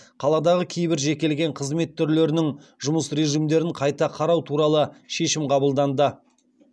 қаладағы кейбір жекелеген қызмет түрлерінің жұмыс режимдерін қайта қарау туралы шешім қабылданды